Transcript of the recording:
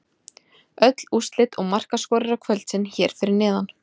Öll úrslit og markaskorarar kvöldsins hér fyrir neðan: